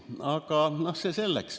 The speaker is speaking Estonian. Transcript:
Aga see selleks.